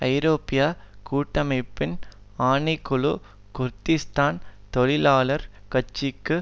ஐரோப்பிய கூட்டமைப்பின் ஆணை குழு குருதிஸ்தான் தொழிலாளர் கட்சிக்கு